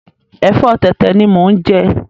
Ẹ̀fọ́ tẹ̀tẹ̀ ni mo ń jẹ